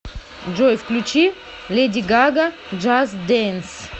джой включи леди гага джаст дэнс